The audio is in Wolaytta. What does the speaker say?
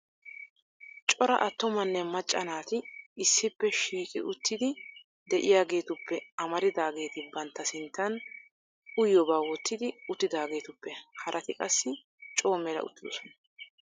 cora attumanne macca naati issippe shiiqi uttidi de'iyaageetuppe amaridaageeti bantta sintta uyyiyooba wottidi uttidaageetuppe harati qassi coo mela uttidoosona. .